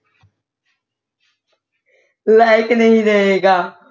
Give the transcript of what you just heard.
ਲਾਇਕ ਨਹੀਂ ਰਹੇਗਾ